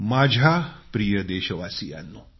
माझ्या प्रिय देशवासियांनो